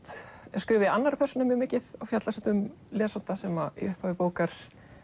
er skrifuð í annarri persónu mjög mikið og fjallar um lesanda sem í upphafi bókar